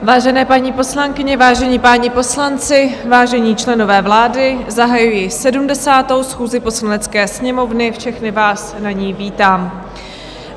Vážené paní poslankyně, vážení páni poslanci, vážení členové vlády, zahajuji 70. schůzi Poslanecké sněmovny, všechny vás na ní vítám.